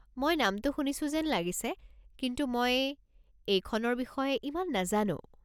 মই নামটো শুনিছো যেন লাগিছে, কিন্তু মই এইখনৰ বিষয়ে ইমান নেজানো।